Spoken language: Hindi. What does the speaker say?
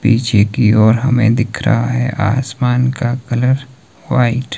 पीछे की ओर हमे दिख रहा है आसमान का कलर व्हाइट ।